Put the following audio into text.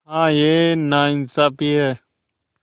हाँ यह नाइंसाफ़ी है